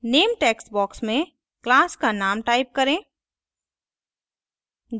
name textbox में class का name type करें